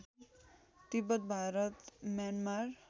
Tibet Bharat Myanmar